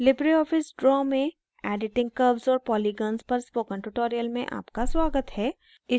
Libre office draw में editing curves और polygons पर spoken tutorial में आपका स्वागत है